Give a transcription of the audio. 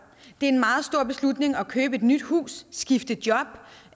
det er en meget stor beslutning at købe et nyt hus skifte job